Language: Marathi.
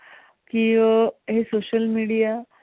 की अं हे social media